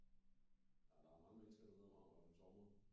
Men der er mange mennesker derude om om sommeren